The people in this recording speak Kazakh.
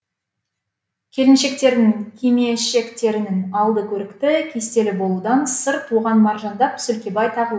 келіншектердің кимешектерінің алды көрікті кестелі болудан сырт оған маржандап сөлкебай тағылады